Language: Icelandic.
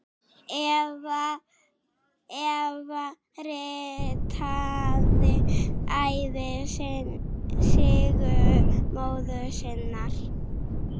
Eva ritaði ævisögu móður sinnar.